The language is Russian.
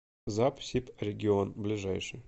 запсибрегион ближайший